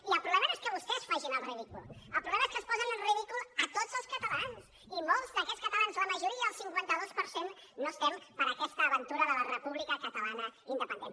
i el problema no és que vostès facin el ridícul el problema és que ens posen en ridícul a tots els catalans i molts d’aquests catalans la majoria el cinquanta dos per cent no estem per aquesta aventura de la república catalana independent